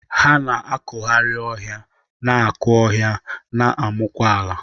Ha na-akụgharị ọhịa, na-akụ ọhịa, na-amụkwa ala.